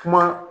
Kuma